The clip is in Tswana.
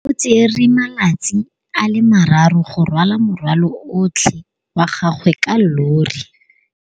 O tsere malatsi a le marraro go rwala morwalo otlhe wa gagwe ka llori.